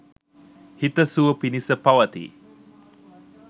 හිත සුව පිනිස පවතියි